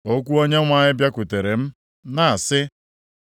Okwu Onyenwe anyị bịakwutere m, na-asị,